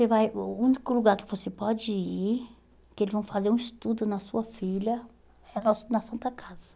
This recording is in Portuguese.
Você vai hum E o único lugar que você pode ir, que eles vão fazer um estudo na sua filha, é no na Santa Casa.